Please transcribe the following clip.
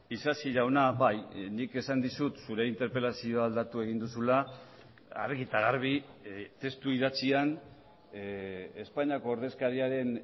isasi jauna bai nik esan dizut zure interpelazioa aldatu egin duzula argi eta garbi testu idatzian espainiako ordezkariaren